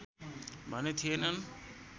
भने थिएनन्